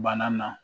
Bana na